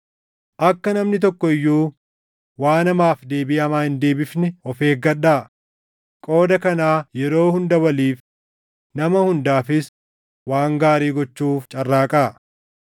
Akka namni tokko iyyuu waan hamaaf deebii hamaa hin deebifne of eeggadhaa; qooda kanaa yeroo hunda waliif, nama hundaafis waan gaarii gochuuf carraaqaa.